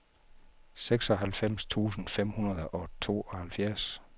seksoghalvfems tusind fem hundrede og tooghalvfjerds